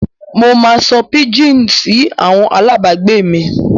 Mo máa sọ píjíìnì sí àwọn alábàágbé mi.